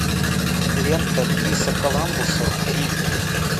лента криса коламбуса рим